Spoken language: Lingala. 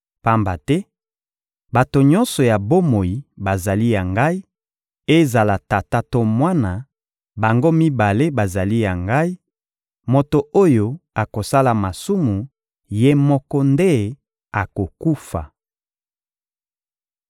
Pamba te bato nyonso ya bomoi bazali ya Ngai, ezala tata to mwana, bango mibale bazali ya Ngai; moto oyo akosala masumu, ye moko nde akokufa.